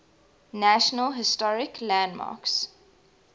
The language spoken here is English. national historic landmarks